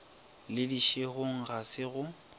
le dišegong ga se go